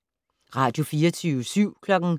Radio24syv